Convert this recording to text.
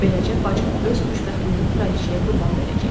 Beləcə bacım öz xoşbəxtliyini kraliçəyə qurban verəcək.